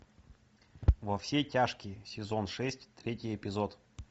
во все тяжкие сезон шесть третий эпизод